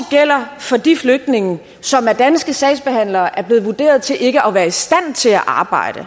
gælder for de flygtninge som af danske sagsbehandlere er blevet vurderet til ikke at være i stand til at arbejde